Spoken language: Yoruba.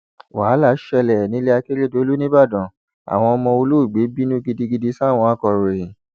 wàhálà ṣẹlẹ nílẹ akérédọlù nìbàdàn àwọn ọmọ olóògbé bínú gidigidi sáwọn akòròyìn